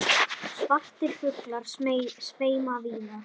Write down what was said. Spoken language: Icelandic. Svartir fuglar sveima víða.